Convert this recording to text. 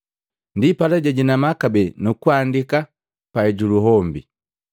Ndipala jajinama kabee nu kuandika panani juluhombi.